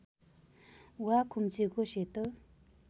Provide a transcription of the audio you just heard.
वा खुम्चेको सेतो